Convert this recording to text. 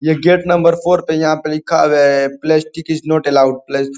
ये gate number four पे यहाँ पे लिखा है प्लास्टिक इज नॉट अल्लोवेड --